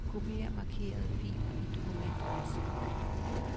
Kopier markerede filer i dokumentoversigt.